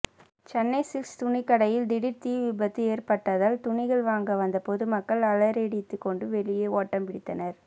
Chennai Silks துணிக்கடையில் திடீர் தீ விபத்து ஏற்பட்டதால் துணிகள் வாங்க வந்த பொதுமக்கள் அலறியடித்துக்கொண்டு வெளியே ஓட்டம் பிடித்தனர்